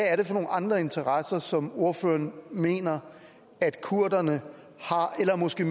er det for nogle andre interesser som ordføreren mener at kurderne har eller måske